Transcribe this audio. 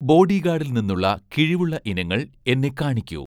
ബോഡിഗാഡിൽ നിന്നുള്ള കിഴിവുള്ള ഇനങ്ങൾ എന്നെ കാണിക്കൂ